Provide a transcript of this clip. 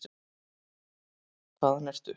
Hvaðan ertu?